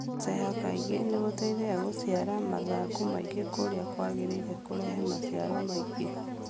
Gũceha kaingĩ nĩgũteithagia gũciara mathangũ maingĩ kũrĩa kwagĩrĩire kũrehe maciaro maingĩ